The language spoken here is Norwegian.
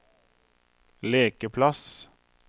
lekeplass